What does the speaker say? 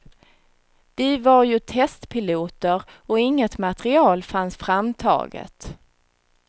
Vi var ju testpiloter och inget material fanns framtaget.